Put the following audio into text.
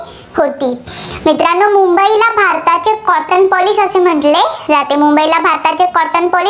होती. मित्रांनो मुंबईला भारताचे cottonopolis असं म्हटले जाते. मुंबईला भारताचे cottonopolis